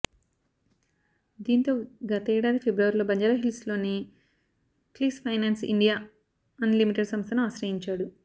దీంతో గతేడాది ఫిబ్రవరిలో బంజారాహిల్స్లోని క్లిక్స్ ఫైనాన్స్ ఇండియా అన్ లిమిటెడ్ సంస్థను ఆశ్రయించాడు